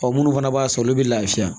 Ɔ munnu fana b'a san olu bɛ lafiya